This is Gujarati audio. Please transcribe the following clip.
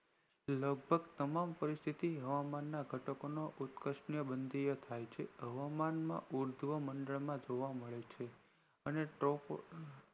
લગભગ તમામ પરિસ્થિતિ હવામાન ના ઘટકોની ઉત્કર્ષ બંધીયા થાય છે હવામાન માં મંડળ માં જોવામળે છે અને